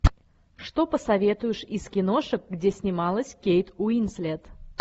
что посоветуешь из киношек где снималась кейт уинслет